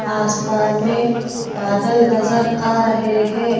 आसमान मे बादल नजर आ रहे हैं।